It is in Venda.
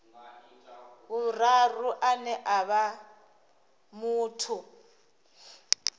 vhuraru ane a vha muthu